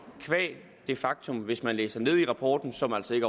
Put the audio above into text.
qua det faktum hvis man læser ned i rapporten som altså ikke